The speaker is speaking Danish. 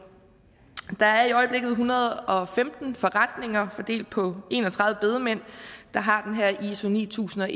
der er i øjeblikket en hundrede og femten forretninger fordelt på en og tredive bedemænd der har den her i iso ni tusind og